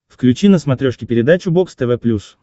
включи на смотрешке передачу бокс тв плюс